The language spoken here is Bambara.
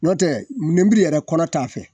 N'o tɛ nemuru yɛrɛ kɔnɔ t'a fɛ